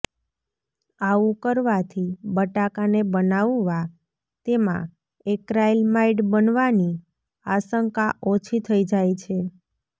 આવું કરવાથી બટાકાને બનાવવા તેમાં એક્રાઇલમાઇડ બનવાની આશંકા ઓછી થઈ જાય છે